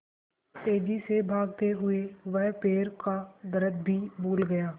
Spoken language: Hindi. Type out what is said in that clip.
तेज़ी से भागते हुए वह पैर का दर्द भी भूल गया